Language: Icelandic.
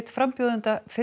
framboði